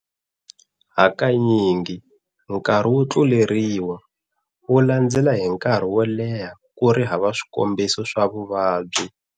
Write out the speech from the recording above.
Hakanyingi nkarhi wo tluleriwa, wu landzela hi nkarhi woleha kuri hava swikombiso swa vuvabyi.